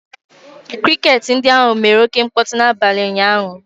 Kriket ndị ahụ mere oké mkpọtụ n'abalị ụnyahụ